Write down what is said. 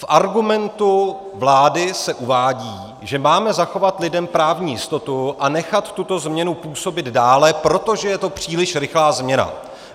V argumentu vlády se uvádí, že máme zachovat lidem právní jistotu a nechat tuto změnu působit dále, protože je to příliš rychlá změna.